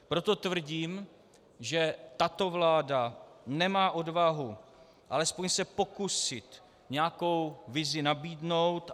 Proto tvrdím, že tato vláda nemá odvahu alespoň se pokusit nějakou vizi nabídnout.